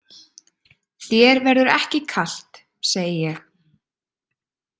Þér verður ekki kalt, segi ég.